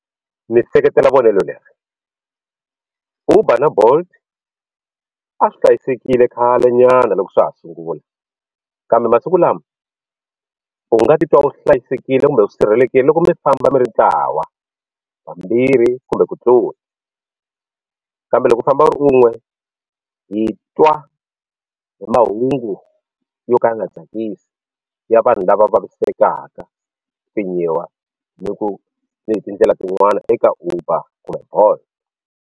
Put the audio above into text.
Ndzi seketela vonelo leri Uber na Bolt a swi hlayisekile khale nyana loko swa ha sungula kambe masiku lama u nga titwa u hlayisekile kumbe u sirhelelekile loko mi famba mi ri ntlawa vambirhi kumbe ku tlula kambe loko u famba u ri un'we hi twa hi mahungu yo ka ya nga tsakisi ya vanhu lava vavisekaka pfinyiwa ni ku ni hi tindlela tin'wana eka Uber kumbe Bolt.